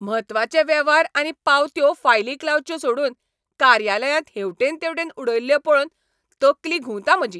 म्हत्वाचे वेव्हार आनी पावत्यो फायलीक लावच्यो सोडून कार्यालयांत हेवटेन तेवटेन उडयल्ल्यो पळोवन तकली घुंवता म्हजी.